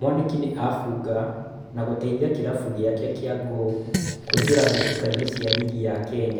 Mwaniki nĩ abunga na gũteithia kĩrabu gĩake kĩa Gor kũĩngĩra mbĩtĩkainĩ cia rigi ya Kenya